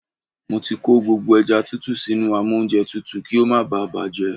Mo ti kó gbogbo ẹja tútù sínú amóúnjẹtutù kí ó má bá à bàjẹ́.